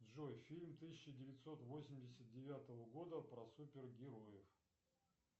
джой фильм тысяча девятьсот восемьдесят девятого года про супергероев